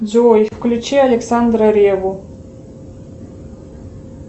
джой включи александра ревву